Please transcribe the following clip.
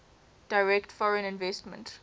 direct foreign investment